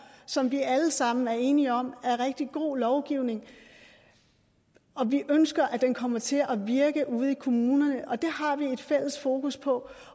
som vi alle sammen er enige om er rigtig god lovgivning og vi ønsker at den kommer til at virke ude i kommunerne det har vi et fælles fokus på